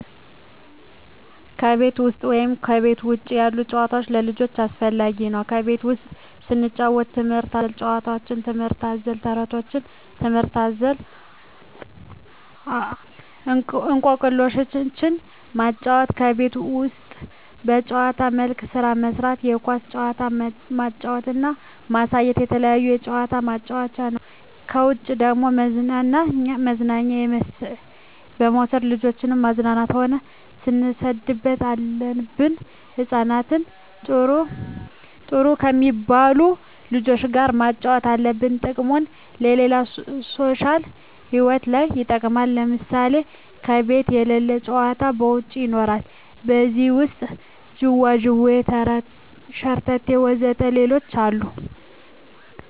ከቤት ውሰጥ ወይም ከቤት ውጭ ያሉ ጭዋታዎች ለልጆቻቸው አስፈላጊ ነው ከቤት ውስጥ ስንጫወት ትምህርት አዘል ጫውውቶች ትምህርት አዘል ተረቶች ትምህርት አዘል እኮክልሾችን ማጫወት ከቤት ውስጥ በጭዋታ መልክ ስራ ማሰራት የኳስ ጭዋታ ማጫወት እና ማሳየት የተለያየ ጭዋታ ማጫወት ነው ከውጭ ደግሞ መዝናኛ በመውሰድ ልጆችን ማዝናናት ሆነ ማስደሰት አለብን ህጻናትን ጥሩ ከሜባሉ ልጆች ጋር ማጫወት አለብን ጥቅሙም ለሌላ ሦሻል ህይወታቸው ለይ ይጠቅማል ለምሳሌ ከቤት የለሉ መጫወቻ ከውጭ ይኖራሉ ከዜህ ውሰጥ ጅዋጅዌ ሸረተቴ ወዘተ ሌሎችም አሉ